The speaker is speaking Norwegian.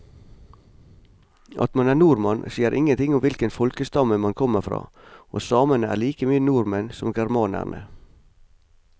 At man er nordmann sier ingenting om hvilken folkestamme man kommer fra, og samene er like mye nordmenn som germanerne.